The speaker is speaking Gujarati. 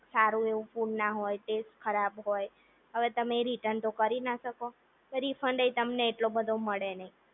સારું એવું ફૂડ ના હોય ટેસ્ટ ખરાબ હોય, હવે તમે રિટર્ન તો કરી ના શકો અને રિફંડ તમને એવો બધો મળે નહીં